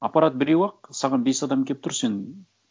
аппарат біреу ақ саған бес адам келіп тұр сен